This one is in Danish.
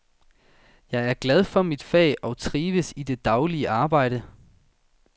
Jeg er glad for mit fag og trives i det daglige arbejde.